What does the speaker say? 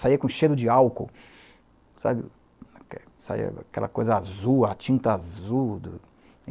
saía com cheiro de álcool, saía, saía, aquela coisa azul, a tinta azul do